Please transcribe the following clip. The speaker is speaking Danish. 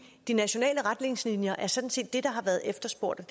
de nationale retningslinjer er sådan set det der har været efterspurgt